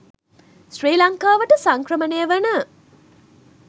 ශ්‍රී ලංකාවට සංක්‍රමණය වන